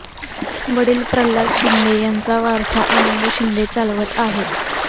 वडील प्रल्हाद शिंदे यांचा वारसा आनंद शिंदे चालवत आहेत